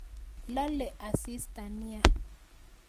Lale asista nia